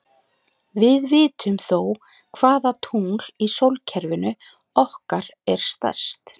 Við vitum þó hvaða tungl í sólkerfinu okkar er stærst.